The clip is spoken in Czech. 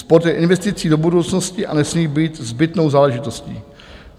Sport je investicí do budoucnosti a nesmí být zbytnou záležitostí.